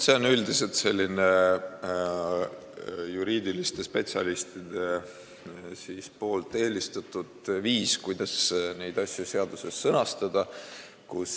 See on üldiselt selline juuraspetsialistide eelistatud viis, kuidas neid asju seaduses sõnastada.